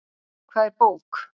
Hvað er bók?